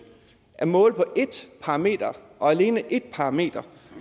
at måle på et parameter og alene et parameter